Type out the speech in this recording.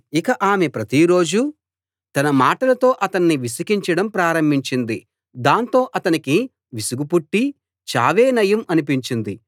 ఇక ఆమె ప్రతిరోజూ తన మాటలతో అతణ్ణి విసికించడం ప్రారంభించింది దాంతో అతనికి విసుగు పుట్టి చావే నయం అనిపించింది